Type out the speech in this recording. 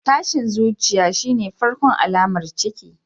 Tashin zuciya shine farkon alamar ciki.